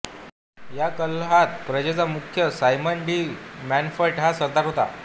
या कलहात प्रजेचा मुख्य सायमन डी मन्टफट हा सरदार होता